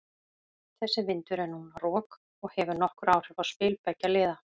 Þessi vindur er núna rok og hefur nokkur áhrif á spil beggja liða.